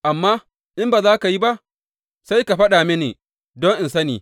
Amma in ba za ka yi ba, sai ka faɗa mini, don in sani.